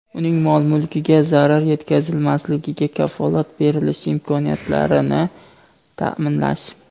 uning mol-mulkiga zarar yetkazmasligiga kafolat berilishi imkoniyatlarini ta’minlash;.